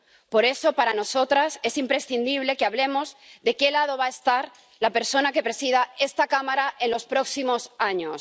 Por eso, para nosotras es imprescindible que hablemos de qué lado va a estar la persona que presida esta Cámara en los próximos años.